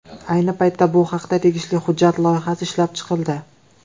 Ayni paytda bu haqda tegishli hujjat loyihasi ishlab chiqildi.